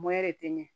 de te ɲɛ